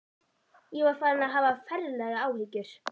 Ég var farinn að hafa ferlegar áhyggjur.